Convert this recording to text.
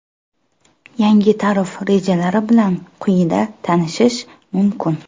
Yangi tarif rejalari bilan quyida tanishish mumkin .